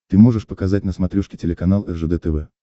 ты можешь показать на смотрешке телеканал ржд тв